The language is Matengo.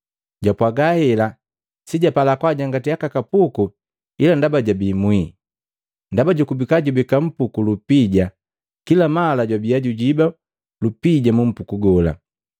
Jwapwaga hela, si japala kwaajangati aka kapuku, ila ndaba jabii mwii. Ndaba jukubika jubeka mpuku ulupija, kila mala jwabia jujiba lupija mumpuku gola.